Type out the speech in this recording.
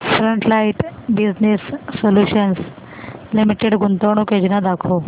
frontline business solutions limited गुंतवणूक योजना दाखव